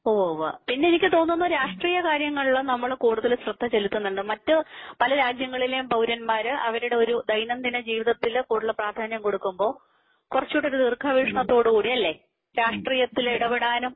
ഹോവാ പിന്നെ എനിക്ക് തോന്നുന്നു രാഷ്ട്രീയ കാര്യങ്ങളിലും നമ്മൾ കൂടുതൽ ശ്രദ്ധ ചെലുത്തുന്നുണ്ട് പല രാജ്യങ്ങളിലേയും പൗരന്മാരെ അവരുടഒരു ദൈനംദിനജീവിതത്തിന്പ്രധാന്യം കൊടുക്കുമ്പോൾ കുറച്ച് കൂടി ദീർഘവീക്ഷണത്തോടുകൂടി അല്ലേ? രാഷ്ട്രീയത്തിൽ ഇടപെടാനും